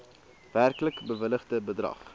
werklik bewilligde bedrag